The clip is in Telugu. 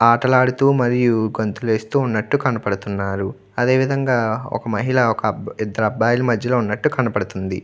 ఆటలాడుతూ మరియు గంతులు వేస్తూ ఉన్నట్టు కనబడుతున్నారు అదే విధంగా ఒక మహిళ ఇద్దరు అబ్బాయిలు మజ్జలో ఉన్నట్టు కనపడుతుంది.